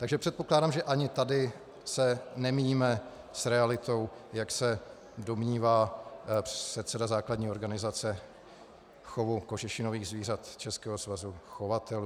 Takže předpokládám, že ani tady se nemíjíme s realitou, jak se domnívá předseda základní organizace chovu kožešinových zvířat Českého svazu chovatelů.